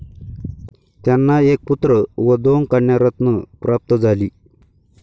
त्यांना एक पुत्र व दोन कन्यारत्न प्राप्त झाली.